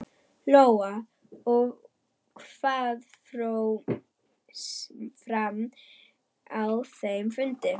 Lóa: Og hvað fór fram á þeim fundi?